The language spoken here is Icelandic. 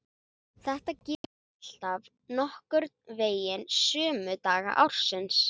Þetta gerist alltaf nokkurn veginn sömu daga ársins.